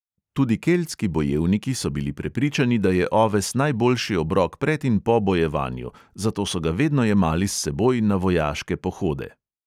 Tudi keltski bojevniki so bili prepričani, da je oves najboljši obrok pred in po bojevanju, zato so ga vedno jemali s seboj na vojaške pohode.